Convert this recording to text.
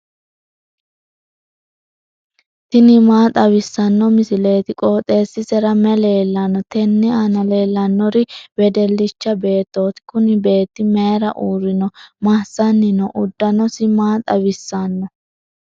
tini maa xawissanno misileeti? qooxeessisera may leellanno? tenne aana leellannori wedellicha beettooti. kuni beetti mayiira uurrino? massanni no? uddanosino maa xawissanno?